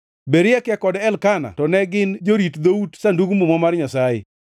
Berekia kod Elkana to ne gin jorit dhout od Sandug Muma mar Nyasaye.